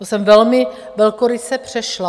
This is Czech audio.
To jsem velmi velkoryse přešla.